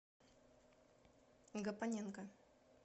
гапоненко